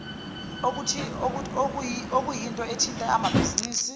okuyinto ethinta amabhizinisi